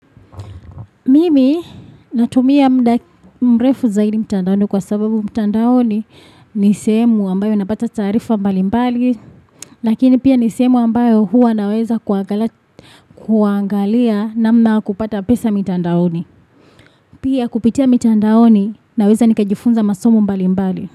Mimi natumia muda mrefu zaidi mtandaoni kwa sababu mtandaoni ni sehemu ambayo napata taarifa mbali mbali Lakini pia ni sehemu ambayo huwa naweza kuangalia namna kupata pesa mtandaoni Pia kupitia mitandaoni naweza nikajifunza masomo mbali mbali.